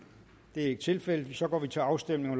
det er ikke tilfældet så går vi til afstemning